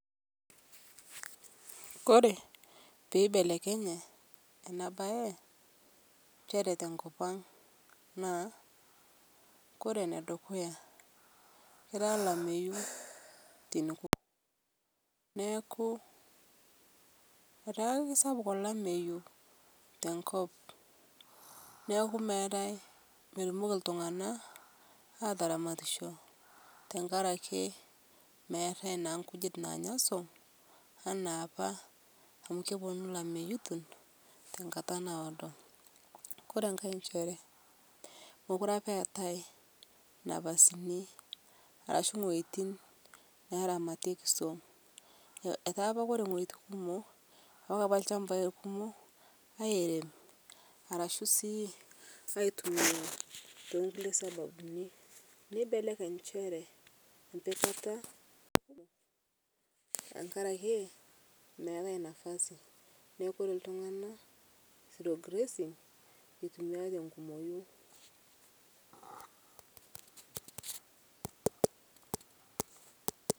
Kore peeibelekenye ena bae nchere tenkopang naa kore enedukuya ketaa olameyu. Neeku etaa ake sapuk olameyu tenkop, newku meetae, metumoki iltung'anak aataramatisho tenkaraki meetae naa inkujit naanya swam enaa opa kepwonu ilameyutin tenkata naado. Kore enkae inchere mokure opa eetae napasini arashu wuetin neeramatieki swam. Etaapa ore wueitin kumok, ilchambai kumok airem arashu sii aitumia toongulie sababuni, neibelekeny nchere empikata tenkaraki meetae nafasi. Neeku ore iltung'anak zero grazing itumiai te nkumoi